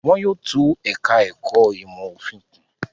Wọn yóò tún ẹ̀ka-ẹ̀kọ́ ìmọ̀-òfin kùn.